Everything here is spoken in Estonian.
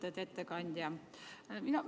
Lugupeetud ettekandja!